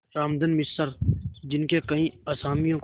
रामधन मिश्र जिनके कई असामियों को